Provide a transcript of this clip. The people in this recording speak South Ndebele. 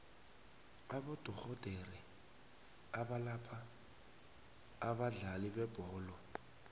abodorhodere abalapha abadlali bebholo